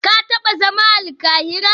Ka taba zama a Alkahira?